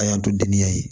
A y'an to denniya ye